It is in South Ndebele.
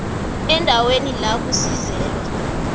eendaweni la kusizelwa